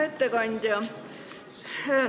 Hea ettekandja!